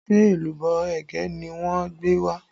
Ṣé èlùbọ́ ẹ̀gẹ́ ni wọ́n gbé wá?